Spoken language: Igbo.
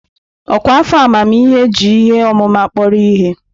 Ọkwa afọ amamihe ji ihe ọmụma kpọrọ ihe.